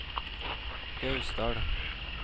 Gausdal